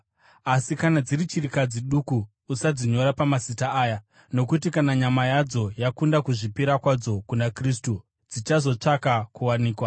Asi kana dziri chirikadzi duku usadzinyora pamazita aya. Nokuti kana nyama yadzo yakunda kuzvipira kwadzo kuna Kristu, dzichazotsvaka kuwanikwa.